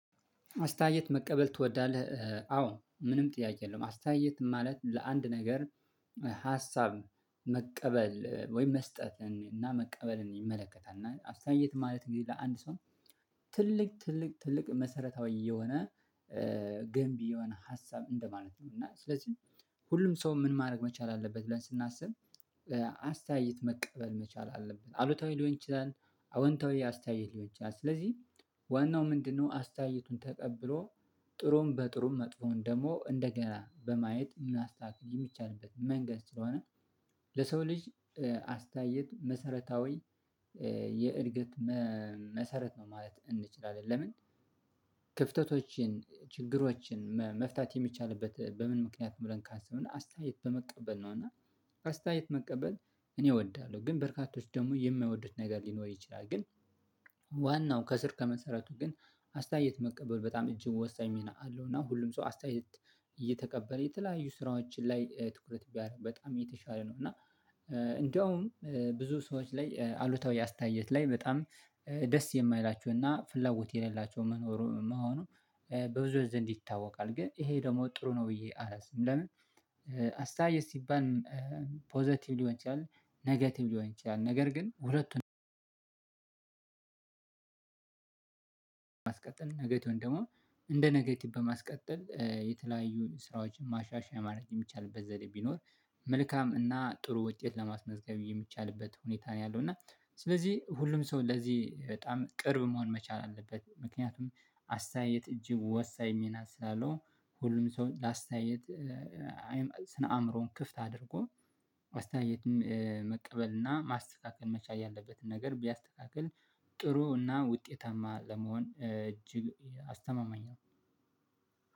አስተያየት መቀበል ትወዳለህ? አዎ ምንም ጥያቄ የለውም አስተያየት ማለት ለአንድ ነገር ሀሳብ መቀበል ወይም መስጠትን እና መቀበልን ይመለከታል። እና አስተያየት ማለት እንግዲህ ለአንድ ሰው ትልቅ ትልቅ ትልቅ መሰረታዊ የሆነ ገንቢ የሆነ ሀሳብ እንደማለት ነው። እና ስለዚህ ሁሉም ሰው ምን ማድረግ መቻል አለበት ብለን ስናስብ አስተያየት መቀበል መቻል አለበት። አሉታዊ ሊሆን ይችላል አዎንታዊ አስተያየት ሊሆን ይችላል ስለዚህ ዋናው ምንድነው? አስተያየቱን ተቀብሎ ጥሩም በጥሩም መጥፎውን ደግሞ እንደገና በማየት ምናስተካክል የሚቻልበት መንገድ ስለሆነ ለሰው ልጅ አስታየት መሰረታዊ የእድገት መሰረት ነው ማለት እንችላለን። ለምን ክፍተቶችን ችግሮችን መፍታት የሚቻልበት በምን ምክንያት ነው ብለን ካሰብነ አስተያየት በመቀበል ነው። እና አስተያየት መቀበል እኔ እወዳለሁ ግን በርካቶች ደግሞ የማይወዱት ነገር ሊኖር ይችላል። ግን ዋናው ከስር ከመሰረቱ ግን አስተያየት መቀበል በጣም እጅም ወሳኝ ሚና አለው። እና ሁሉም ሰው አስተያየት እየተቀበለ የተለያዩ ስራዎችን ላይ ትኩረት ቢያደርግ በጣም እየተሻለ ነው። እና እንደውም ብዙ ሰዎች ላይ አሉታዊ አስታየት ላይ በጣም ደስ የማይላቸውና ፍላጎት የሌላቸው መኖሩ መሆኑ በብዙዎች ዘንድ ይታወቃል። ግን ይሄ ደግሞ ጥሩ ነው ብዬ አላስብም። ለምን አስተያየት ሲባል ፖዘቲቭ ሊሆን ይችላል ነገቲቭ ሊሆን ይችላል። ነገር ግን ሁለቱን በማስቀጠል ኔጌቲቩን ደግሞ እንደ ኔጌቲቭ በማስቀጠል የተለያዩን ስራዎች ማሻሻያ ማድረግ የሚቻልበት ዘዴ ቢኖር መልካም እና ጥሩ ውጤት ለማስመዝገብ የሚቻልበት ሁኔታ ነው ያለው። እና ስለዚህ ሁሉም ሰው ለዚህ በጣም ቅርብ መሆን መቻል አለበት። ምክንያቱም አስተያየት እጅግ ወሳኝ ሚና ስላለው ሁሉም ሰው ላስተያየት ስነ አእምሮን ክፍት አድርጎ ላስተያየትም መቀበል እና ማስተካከል መቻል ያለበትን ነገር ቢያስተካክል ጥሩ እና ውጤታማ ለመሆን እጅግ አስተማማኝ ነው።